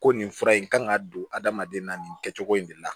Ko nin fura in kan ka don adamaden na nin kɛcogo in de la